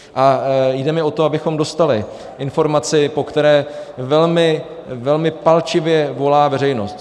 A jde mi o to, abychom dostali informaci, po které velmi palčivě volá veřejnost.